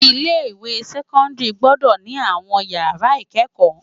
Ilé iwé sèkòndári gbòdò ni áwòn iyàrá ikëkò